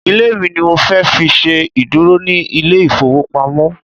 Ilé mi ni mo fẹ́ fi ṣe ìdúró ní ilé ìfowópamọ́.